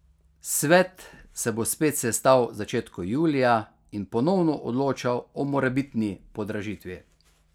Svet se bo spet sestal v začetku julija in ponovno odločal o morebitni podražitvi.